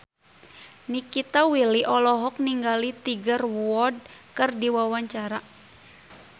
Nikita Willy olohok ningali Tiger Wood keur diwawancara